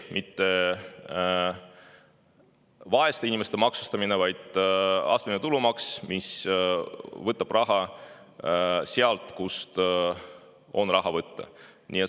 Mitte vaeste inimeste maksustamine, vaid astmeline tulumaks, mis võtab raha sealt, kust seda on võtta.